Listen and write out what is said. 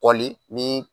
Kɔli ni